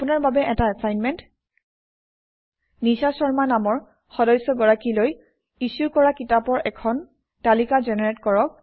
আপোনাৰ বাবে এটা এচাইনমেণ্ট নিশা শৰ্মা নামৰ সদস্যগৰাকীলৈ ইছ্যু কৰা কিতাপৰ এখন তালিকা জেনেৰেট কৰক